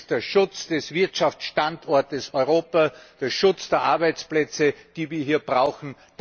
Das ist der Schutz des Wirtschaftsstandorts Europa, der Schutz der Arbeitsplätze, die wir hier brauchen.